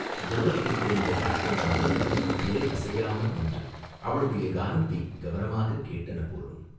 தூரத்தில் தெரிந்த காட்டு மரங்களும் இலை அசையாமல் நின்று அவளுடைய கானத்தைக் கவனமாகக் கேட்டன போலும்!